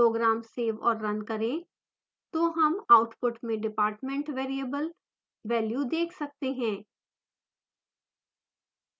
program so और run करें तो हम output में department variable value देख सकते हैं